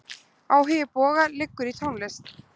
Áhugi Boga liggur í tónlist.